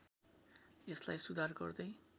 यसलाई सुधार गर्दै